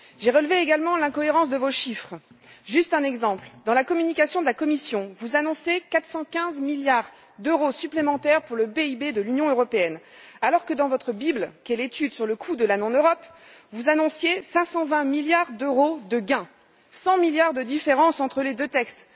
J'ai relevé également l'incohérence de vos chiffres. Juste un exemple dans la communication de la Commission, vous annoncez 415 milliards d'euros supplémentaires pour le PIB de l'Union européenne alors que dans votre bible, qui est l'étude sur le coût de la non Europe, vous annonciez 520 milliards d'euros de gain. Cent milliards de différence entre les deux textes.